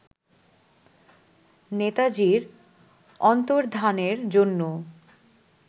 নেতাজীর অন্তর্ধানের জন্য